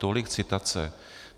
Tolik citace.